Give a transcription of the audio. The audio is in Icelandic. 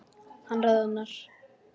Hann roðnar.